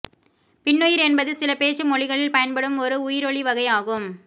பின்னுயிர் என்பது சில பேச்சு மொழிகளில் பயன்படும் ஒரு உயிரொலி வகை ஆகும்